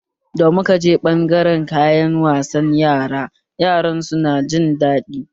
Da muka je ɓangaren kayan wasan Yara, Yaran su na ta jin daɗi